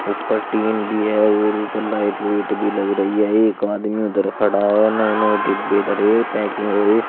ऊपर टिन भी है और ऊपर लाइट लूइट भी लग रही है एक आदमी उधर खड़ा है नए नए डिब्बे धरे हैं पैकिंग हुई।